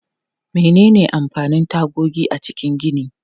Menene amfanin tagogi a cikin gini?